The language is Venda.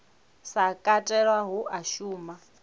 sa katelwa hu a shuma